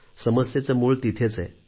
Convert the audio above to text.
समस्येचे मूळ तिथेच आहे